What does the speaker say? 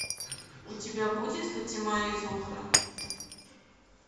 у тебя будет фатима и зухра